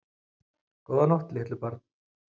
Góða nótt litlu börn.